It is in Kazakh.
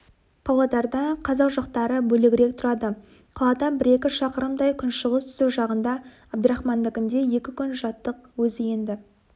павлодарда қазақ жақтары бөлегірек тұрады қаладан бір-екі шақырымдай күншығыс-түстік жағында әбдірахмандікінде екі күн жаттық өзі енді